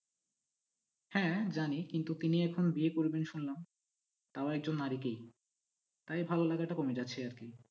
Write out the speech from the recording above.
হ্যাঁ জানি কিন্তু তিনি এখন বিয়ে করবেন শুনলাম তাও একজন নারীকেই তাই ভালো লাগাটা কমে যাচ্ছে আর কি।